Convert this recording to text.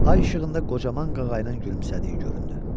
Ay işığında qocaman qağayın gülümsədiyi göründü.